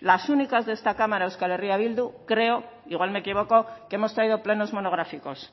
las únicas de esta cámara euskal herria bildu creo igual me equivoco que hemos traído plenos monográficos